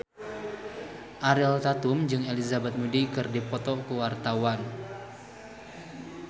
Ariel Tatum jeung Elizabeth Moody keur dipoto ku wartawan